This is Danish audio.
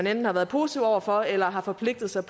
enten har været positive over for eller har forpligtet sig